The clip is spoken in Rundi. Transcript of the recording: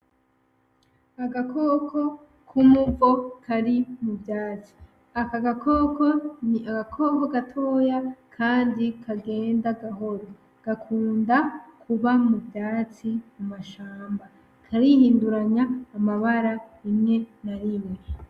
Agakoko k'uruvo kari mu vyatsi. Aka gakoko ni agakoko gatoya kandi kagenda gahoro. Gakunda kuba muvyatsi mu mashamba. Karihinduranya amabara rimwe na rimwe.